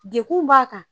Dekun b'a kan